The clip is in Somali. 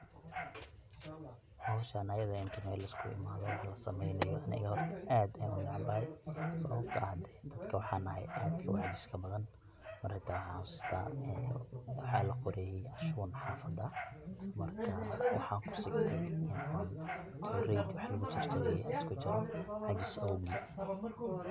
howshan ayada eh inti mel liskugu imaado wax la saameynayo aniga horta aad ayan unacbahay sababto ah dadka waxan ahay aadka uu caajis badan, marka hata waxan xaasusta waxaa laqoraye ashuun xafada marka waxaan kusigtee in an toreydi wax lugu jarjaraye an iskujaro caajis awgii